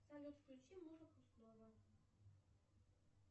салют включи музыку снова